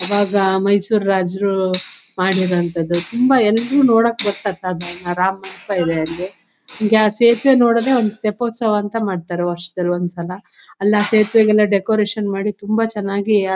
ಈವಾಗ ಮೈಸೂರ್ ರಾಜರು ಮಾಡಿರುವಂತದು ತುಂಬಾ ಎಲ್ಲರು ನೋಡಕ ಬರತ್ತಾರೆ ಆರಾಮ ಅನ್ನಸ್ತಿದೆ ಅಲ್ಲಿ ಜಾ ಸೇತುವೆ ನೋಡೋದೆ ಒಂದು ತ್ತೆಪೊಸವ ಅಂತಾ ಮಾಡತ್ತಾರೆ ವರ್ಷದಲ್ಲಿಒಂದು ಸಲ ಅಲ್ಲಿಸೇತುವೆಗೆ ಡೆಕೋರೇಷನ್ ಮಾಡಿ ತುಂಬಾ ಚೆನ್ನಾಗಿ ಆಹ್.